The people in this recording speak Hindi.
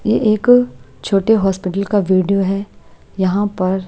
ये एक छोटे हॉस्पिटल का वीडियो है यहां पर--